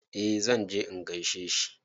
Eh zan je in gaishe shi.